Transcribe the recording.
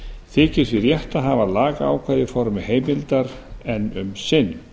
þykir því rétt að hafa lagaákvæðið í formi heimildar um sinn